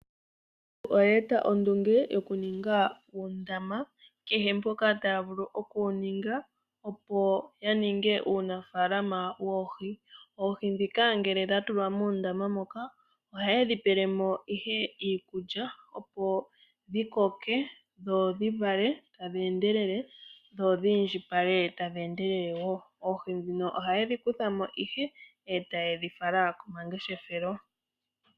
Aanafalama oya e ta ondunge yokununga uundama kehe mpoka taya vulu okuwu ninga opo yaninge uunafalama woohi . Oohi ndhika ngela dha tulwa muundama muka ohaye dhi pelemo iikulya opo dhi koke , dho dhivale tadhi endelele dho dhi indjipale tadhi endelele woo. Oohi dhino ohaye dhi kuthamo nduno taye dhi fala komangeshefelo .